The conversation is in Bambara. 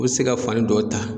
E be se ka fani dɔ ta